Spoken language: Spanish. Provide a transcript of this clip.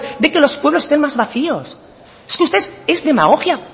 de que los pueblos estén más vacíos es que usted es demagogia